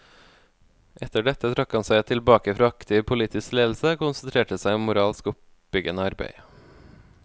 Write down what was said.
Etter dette trakk han seg tilbake fra aktiv politisk ledelse, og konsentrerte seg om moralsk oppbyggende arbeid.